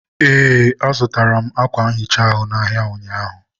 ee, azụtara m ákwà nhicha ahụ n'ahịa ụnyaahụ.